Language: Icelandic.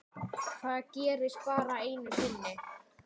Það gerðist bara einu sinni.